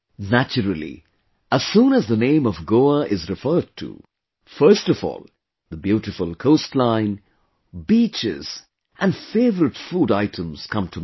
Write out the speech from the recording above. Naturally, as soon as the name of Goa is referred to; first of all, the beautiful Coastline, Beaches and favourite food items come to mind